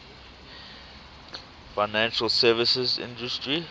financial services industry